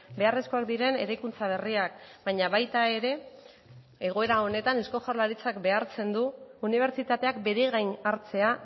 beharrezkoak diren eraikuntza berriak baina baita ere egoera honetan euko jaurlaritzak behartzen du unibertsitateak bere gain hartzea